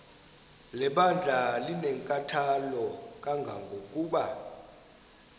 lebandla linenkathalo kangangokuba